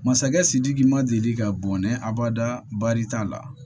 Masakɛ sidiki ma deli ka bɔnɛ abada bari t'a la